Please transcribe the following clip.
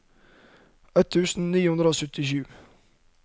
ett tusen ni hundre og syttisju